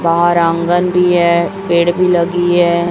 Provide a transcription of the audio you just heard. बाहर आंगन भी है पेड़ भी लगी है।